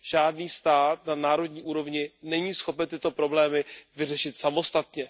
Žádný stát na národní úrovni není schopen tyto problémy vyřešit samostatně.